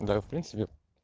да я в принципе